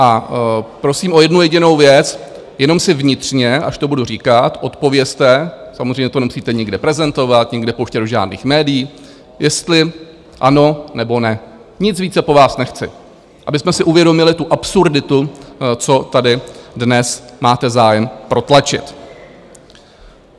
A prosím o jednu jedinou věc - jenom si vnitřně, až to budu říkat, odpovězte, samozřejmě to nemusíte nikde prezentovat, nikde pouštět do žádných médií, jestli ano, nebo ne, nic více po vás nechci, abychom si uvědomili tu absurditu, co tady dnes máte zájem protlačit.